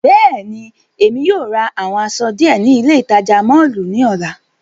Bẹ́ẹ̀ni, Emi yóò ra awọn aṣọ diẹ ni ile itaja mọllu ni ọla.